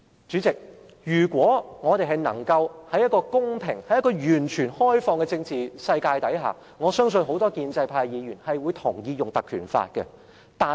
主席，如果我們是在一個公平、完全開放的政治世界中，我相信很多建制派議員也會同意引用《立法會條例》。